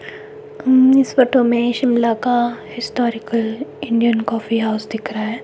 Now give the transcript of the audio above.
अं इस फोटो में शिमला का हिस्टोरिकल इंडियन कॉफी हाउस दिख रहा--